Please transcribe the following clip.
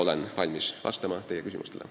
Olen valmis vastama teie küsimustele.